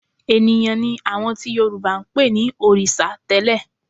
Ènìyàn ni àwọn tí Yorùbá ń pè ní òrìṣà tẹ́lẹ̀